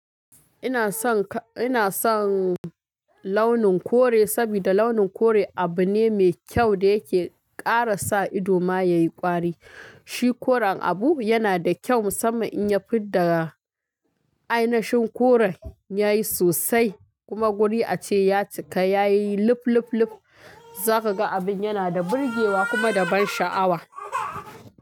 Ina son, ina son launin kore saboda launin kore abu ne mai kyau da yake ƙara sa idoma yayi ƙwari. Shi koren abu yana da kyau musamman in ya fid da ainashin koren yayi sosai kuma guri ace ya cika yayi lup lup lup. Zaka ga abin yana da burge wa kuma da ban sha'awa.